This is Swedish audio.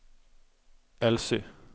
Elsy